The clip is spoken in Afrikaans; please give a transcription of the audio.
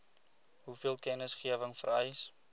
hoeveel kennisgewing vereis